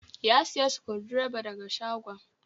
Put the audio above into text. Ya sayi Sukundireba da ga shagon.